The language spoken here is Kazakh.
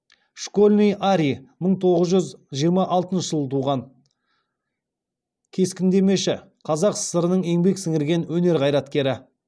школьный арий мың тоғыз жүз жиырма алтыншы жылы туған кескіндемеші қазақ сср інің еңбек сіңірген өнер қайраткері